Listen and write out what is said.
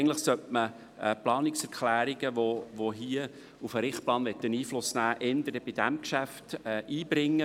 Eigentlich sollten Planungserklärungen, die hier auf den Richtplan Einfluss nehmen wollen, erst zu diesem Geschäft eingebracht werden.